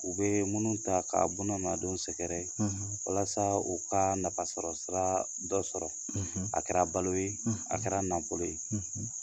U bɛ minnu ta ka bɔn nadon sɛgɛrɛ ye walasa u ka nafasɔrɔsira dɔ sɔrɔ a kɛra balo ye a kɛra nakɔ ye